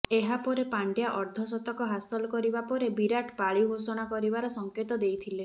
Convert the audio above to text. ଏହାପରେ ପାଣ୍ଡ୍ୟା ଅର୍ଦ୍ଧଶତକ ହାସଲ କରିବା ପରେ ବିରାଟ୍ ପାଳି ଘୋଷଣା କରିବାର ସଙ୍କେତ ଦେଇଥିଲେ